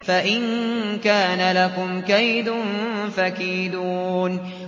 فَإِن كَانَ لَكُمْ كَيْدٌ فَكِيدُونِ